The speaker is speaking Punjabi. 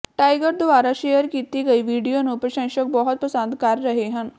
ਟਾਈਗਰ ਦੁਆਰਾ ਸ਼ੇਅਰ ਕੀਤੀ ਗਈ ਵੀਡੀਓ ਨੂੰ ਪ੍ਰਸ਼ੰਸਕ ਬਹੁਤ ਪਸੰਦ ਕਰ ਰਹੇ ਹਨ